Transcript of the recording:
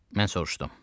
Mən soruşdum.